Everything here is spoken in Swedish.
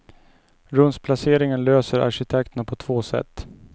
Rumsplaceringen löser arkitekterna på två sätt.